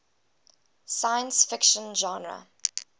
science fiction genre